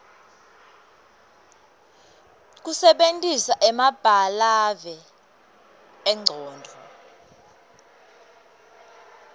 kusebentisa emabalave engcondvo